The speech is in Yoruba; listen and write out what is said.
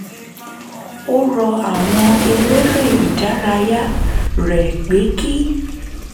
ó rọ àwọn eléré ìdárayá rẹ̀ pé kí